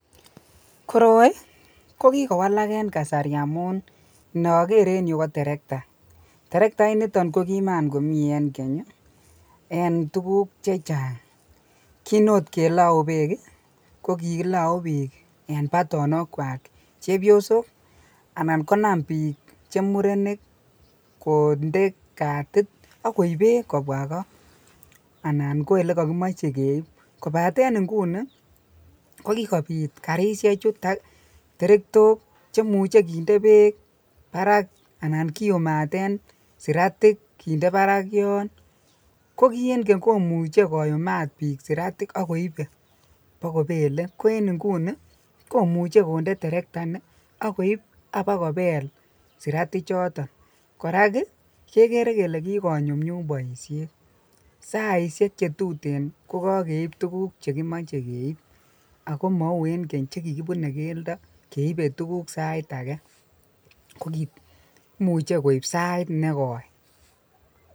Koroi ko kikowalak en kasari amun inoker en yuu ko terekta, terekta initon ko kiman komii en keny en tukuk chechang, kiin oot kelou beek ko kilouu biik en batonokwak chebiosok anan konam biik chemurenik konde katit ak koib beek kobwa koo anan ko elekokimoche keiib, kobaten inguni ko kikobiit karishechu terektok chemuche kinde beek barak anan kiumaten siratik kinde barak yoon, ko kii en Keny komuche koyumat biik siratik ak koibe bokobele ko en inguni komuche konde terekta nii ak koib abakobel sirati choton, korak kekere kolee kikonyumnyum boishet, saishek chetuten ko kokeib tukuk chekimoche keib ak ko mouu en Keny chekikibune keldo keibe tukuk sait akee, kokimuche koib saiit nekoi.